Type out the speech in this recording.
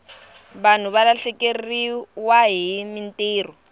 vanhu va lahlekeriwahi mintirho